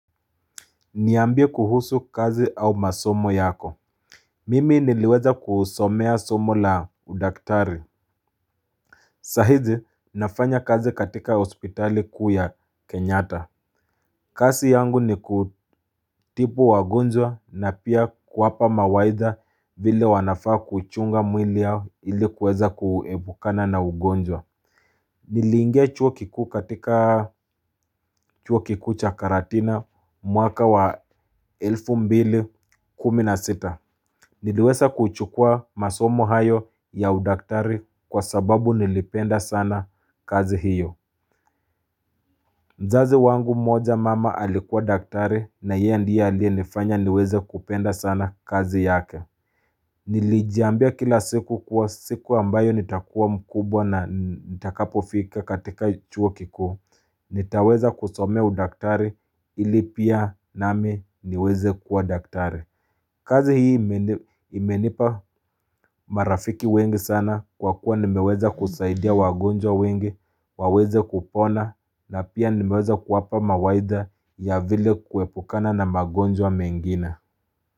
Niambie kuhusu kazi au masomo yako. Mimi niliweza kusomea somo la udaktari. Sahizi, nafanya kazi katika hospitali kuu ya Kenyatta. Kazi yangu ni kutibu wagonjwa na pia kuwapa mawaidha vile wanafaa kuchunga mwili yao ili kuweza kuepukana na ugonjwa. Niliingia chuo kikuu katika chuo kikuu cha Karatina mwaka wa 2016. Niliweza kuchukua masomo hayo ya udaktari kwa sababu nilipenda sana kazi hiyo mzazi wangu moja mama alikuwa daktari na yeye ndiye aliyenifanya niweze kupenda sana kazi yake Nilijiambia kila siku kuwa siku ambayo nitakuwa mkubwa na nitakapofika katika chuo kikuu nitaweza kusomea udaktari ili pia nami niweze kuwa daktari kazi hii imenipa marafiki wengi sana kwa kuwa nimeweza kusaidia wagonjwa wengi, waweze kupona na pia nimeweza kuwapa mawaidha ya vile kuepukana na wagonjwa mengine.